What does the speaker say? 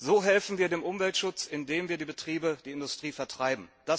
So helfen wir dem Umweltschutz, indem wir die Betriebe, die Industrie, vertreiben.